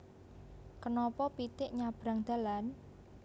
Kenapa pitik nyabrang dalan